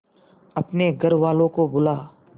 अपने घर वालों को बुला